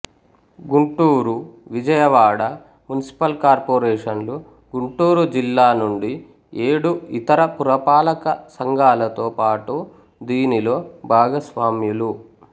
Guntur Vijayawada municipal కార్పొరేషన్లు గుంటూరు జిల్లా నుండి ఏడు ఇతర పురపాలక సంఘాలతో పాటు దీనిలో భాగస్వామ్యులు